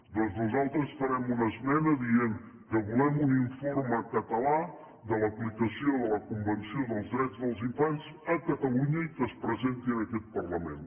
doncs nosaltres farem una esmena dient que volem un informe català de l’aplicació de la convenció dels drets dels infants a catalunya i que es presenti en aquest parlament